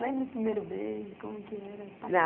Lembra o primeiro beijo, como que era?